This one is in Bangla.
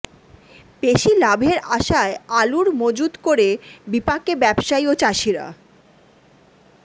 বেশি লাভের আশায় আলুর মজুত করে বিপাকে ব্যবসায়ী ও চাষিরা